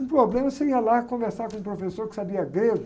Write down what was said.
Um problema, você ia lá conversar com um professor que sabia grego.